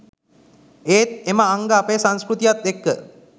ඒත් එම අංග අපේ සංස්කෘතියත් එක්ක